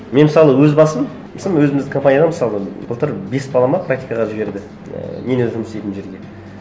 мен мысалы өз басым өзіміздің компанияда мысалы былтыр бес бала ма практикаға жіберді ыыы мен өзім істейтін жерге